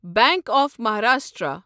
bank of Maharashtra